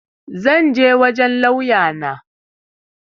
zan je wajen lauya na